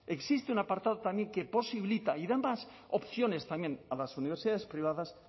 existe un apartado también que posibilita y da más opciones también a las universidades privadas